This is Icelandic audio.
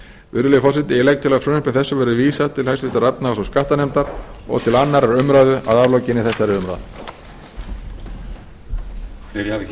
virðulegi forseti ég legg til að frumvarpi þessu verði vísað til háttvirtrar efnahags og skattanefndar og til annarrar umræðu að aflokinni þessari umræðu